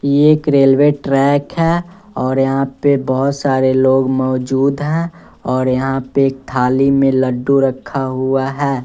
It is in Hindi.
ये एक रेलवे ट्रैक है और यहां पे बहोत सारे लोग मौजूद हैं और यहां पे थाली में लड्डू रखा हुआ है।